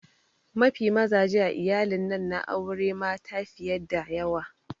Mafi mazaje a iyalin'nan na aure mata fiye da daya.